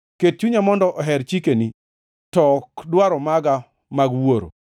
Ket chunya mondo oher chikeni, to ok dwaro maga mag wuoro.